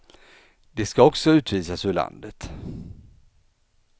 De ska också utvisas ur landet.